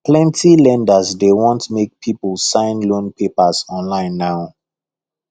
plenty lenders dey want make people sign loan papers online now